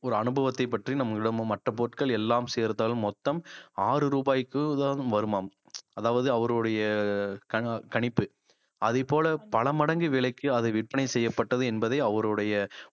ஒரு அனுபவத்தைப் பற்றி நம்மிடமோ மற்ற பொருட்கள் எல்லாம் சேர்த்தாலும் மொத்தம் ஆறு ரூபாய்க்குதான் வருமாம் அதாவது அவருடைய க~ கணிப்பு அதைப் போல பல மடங்கு விலைக்கு அதை விற்பனை செய்யப்பட்டது என்பதே அவருடைய